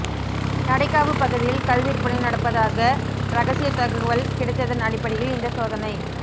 நடைக்காவு பகுதியில் கள் விற்பனை நடப்பதாக ரகசிய தகவல் கிடைத்ததன் அடிப்படையில் இந்த சோதனை